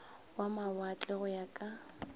wa mawatle go ya ka